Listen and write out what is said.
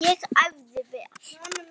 Ég æfði vel.